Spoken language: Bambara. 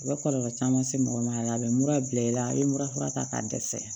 A bɛ kɔlɔlɔ caman se mɔgɔ ma a la a bɛ mura bila i la a bɛ mura fura ta k'a dɛsɛ